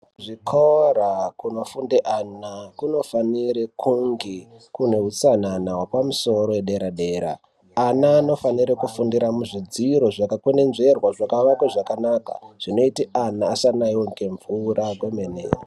Zvikora kunofunde ana kunofanire kunge kune utsanana hwepamusoro yedera-dera . Ana anofanire kufundira muzvidziro zvakakwenenzverwa zvakaakwe zvakanaka zvinoite kuti ana asanaiwe ngemvura kwemene.